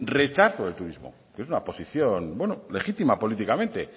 rechazo del turismo que es una posición legítima políticamente